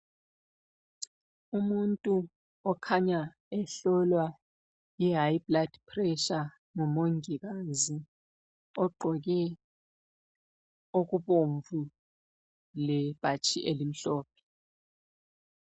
Umuntu okhanya ehlolwa i (high blood pressure)ngu mongikazi ogqoke okubomvu lebhatshi elimhlophe.